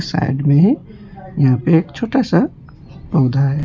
Side में यहां पे एक छोटा सा पौधा है।